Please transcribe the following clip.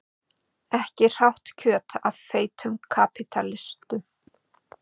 Ekki hrátt kjöt af feitum kapítalistum.